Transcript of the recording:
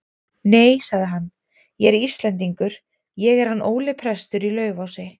Nei, sagði hann,-ég er Íslendingur, ég er hann Óli prestur í Laufási.